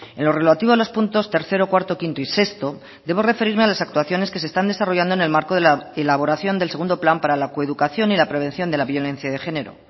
en lo relativo a los puntos tercero cuarto quinto y sexto debo referirme a las actuaciones que se están desarrollando en el marco de la elaboración del segundo plan para la coeducación y la prevención de la violencia de género